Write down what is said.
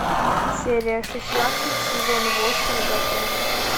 серия шестнадцать сезон восемь готэм